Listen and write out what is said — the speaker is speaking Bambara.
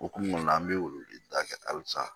Okumu kɔnɔn na an bɛ wele da kɛ halisa